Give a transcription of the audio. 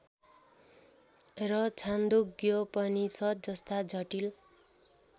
र छान्दोग्योपनिषद् जस्ता जटिल